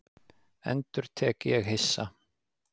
endurtek ég hissa.